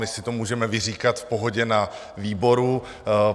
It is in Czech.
My si to můžeme vyříkat v pohodě na výboru.